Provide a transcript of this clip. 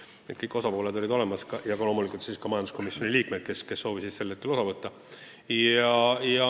Nii et kõik osapooled olid kohal ja loomulikult ka majanduskomisjoni liikmed, kes soovisid sellest istungist osa võtta.